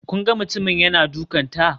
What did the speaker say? Kun ga mutumin yana dukanta?